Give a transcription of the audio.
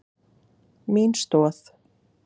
Mín stoð.